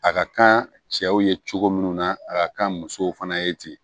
A ka kan cɛw ye cogo min na a ka kan musow fana ye ten